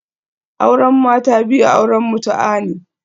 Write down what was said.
Auren mata biyu auren mutu'a ne